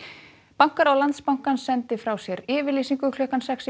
bankaráð Landsbankans sendi frá sér yfirlýsingu klukkan sex